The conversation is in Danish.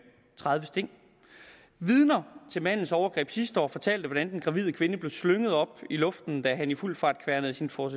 tredive sting vidner til mandens overgreb sidste år fortalte hvordan den gravide kvinde blev slynget op i luften da han i fuld fart kværnede sin ford